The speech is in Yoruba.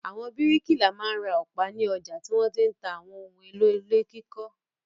Àwọn bíríkìlà máa ń ra ọ̀pá ní ọjà tí wọ́n ti ń ta àwọn ohun-èlò ilé kíkọ́.